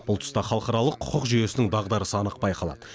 бұл тұста халықаралық құқық жүйесінің дағдарысы анық байқалады